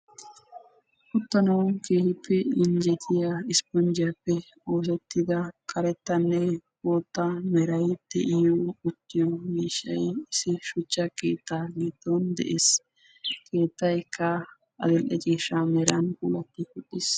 uttanaw keehippe injjettiya ispponjjiyaappe oosettida karettanne bootta meray de'iyo uttiiyo miishshay issi shuchcha keetta giddon de'ees. he keettaykka addl''e ciishsha meran puulatti uttiis.